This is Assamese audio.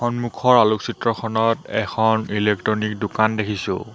সন্মুখৰ আলোকচিত্ৰখনত এখন ইলেকট্ৰনিক দোকান দেখিছোঁ।